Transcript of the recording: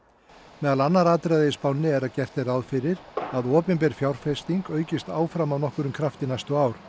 meðal annarra atriða í spánni er að gert er ráð fyrir að opinber fjárfesting aukist áfram af nokkrum krafti næstu ár